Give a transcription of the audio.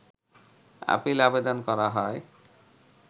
appeal আবেদন করা হয়